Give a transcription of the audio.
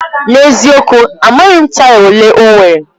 N'eziokwu! Amaghị m taya olee ọ nwere.